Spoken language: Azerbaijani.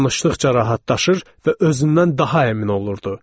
Danışdıqca rahatlaşır və özündən daha əmin olurdu.